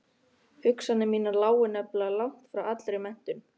Hugsanir mínar lágu nefnilega langt frá allri menntun.